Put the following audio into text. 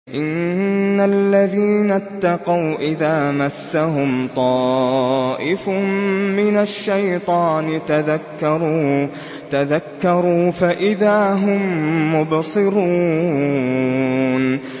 إِنَّ الَّذِينَ اتَّقَوْا إِذَا مَسَّهُمْ طَائِفٌ مِّنَ الشَّيْطَانِ تَذَكَّرُوا فَإِذَا هُم مُّبْصِرُونَ